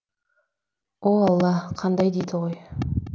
о алла қандай дейді ғой